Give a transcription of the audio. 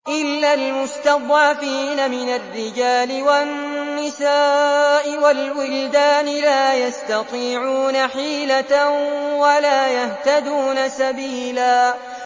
إِلَّا الْمُسْتَضْعَفِينَ مِنَ الرِّجَالِ وَالنِّسَاءِ وَالْوِلْدَانِ لَا يَسْتَطِيعُونَ حِيلَةً وَلَا يَهْتَدُونَ سَبِيلًا